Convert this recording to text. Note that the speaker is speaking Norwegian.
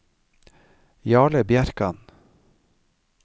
Jarle Bjerkan